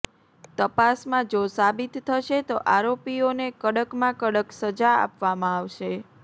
તપાસમાં જો સાબિત થશે તો આરોપીઓને કડકમાં કડક સજા આપવામાં આવશે